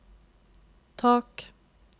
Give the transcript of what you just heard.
tak